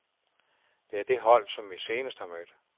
Det er det hold, som vi senest har mødt.